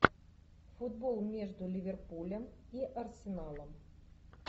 футбол между ливерпулем и арсеналом